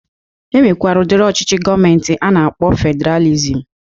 E nwekwere udiri ọchịchị gọọmenti a na-akpọ fedralizm